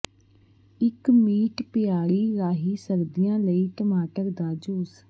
ਇੱਕ ਮੀਟ ਪਿੜਾਈ ਰਾਹੀਂ ਸਰਦੀਆਂ ਲਈ ਟਮਾਟਰ ਦਾ ਜੂਸ